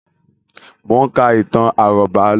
Mo ń ka ìtàn àrọ́bá lọ́wọ́